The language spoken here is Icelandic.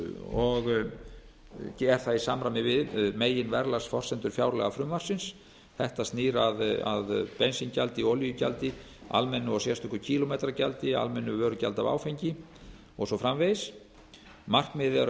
og er það í samræmi við meginverðlagsforsendur fjárlagafrumvarpsins þetta snýr að bensíngjaldi olíugjaldi almennu og sérstöku kílómetragjaldi almennu vörugjaldi á áfengi og svo framvegis markmiðið er